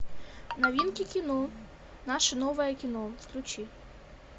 новинки кино наше новое кино включи